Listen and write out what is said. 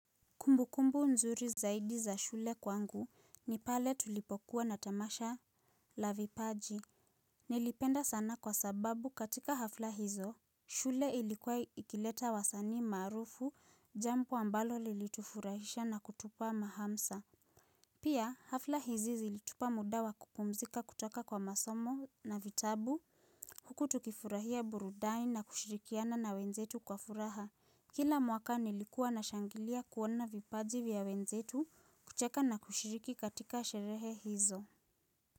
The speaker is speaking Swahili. Kumbukumbu nzuri zaidi za shule kwangu ni pale tulipokuwa na tamasha la vipaji. Nilipenda sana kwa sababu katika hafla hizo, shule ilikuwa ikileta wasani maarufu, jambo ambalo lilitufurahisha na kutupa mahamsa. Pia hafla hizi zilitupa muda wa kupumzika kutoka kwa masomo na vitabu. Huku tukifurahia burudani na kushirikiana na wenzetu kwa furaha. Kila mwaka nilikuwa nashangilia kuona vipaji vya wenzetu kucheka na kushiriki katika sherehe hizo.